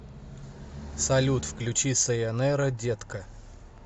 салют включи сайонара детка